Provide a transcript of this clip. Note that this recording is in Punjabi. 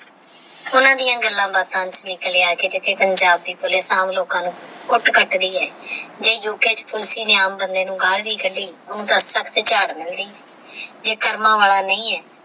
ਓਹਨਾ ਦਿਯਾ ਗੱਲਾਂ ਬਤਾ ਚ ਨਿਕ੍ਲ੍ਯਾ ਕਿਥੇ ਪੰਜਾਬ ਦੀ ਪੁਲਸ ਆਮ ਲੋਕਾ ਨੂ ਕੁਟ ਕਟਦੀ ਹੈ ਜੇ ਯੂਕੇ ਚ ਪੁਲਸ ਨੇ ਆਮ ਬੰਦੇ ਨੂ ਗਾਲ ਵੀ ਕੱਢੇ ਤੇਹ ਮਲਦੀ ਜੇ ਕਰਮਾ ਵਾਲਾ ਨਹੀ ਹੈ